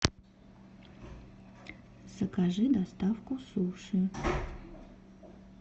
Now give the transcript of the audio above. закажи доставку суши